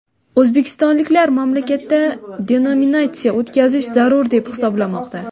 O‘zbekistonliklar mamlakatda denominatsiya o‘tkazish zarur deb hisoblamoqda.